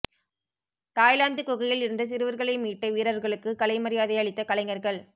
Thailand குகையில் இருந்து சிறுவர்களை மீட்ட வீரர்களுக்கு கலை மரியாதை அளித்த கலைஞர்கள்